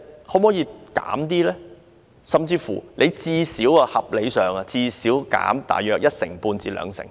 可否減少，或合理地應減少一成半至兩成？